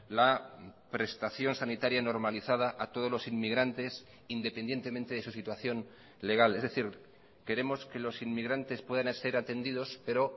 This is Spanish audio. la prestación sanitaria normalizada a todos los inmigrantes independientemente de su situación legal es decir queremos que los inmigrantes puedan ser atendidos pero